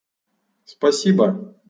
спасибо